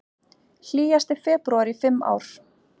Hlýjasti febrúar í fimm ár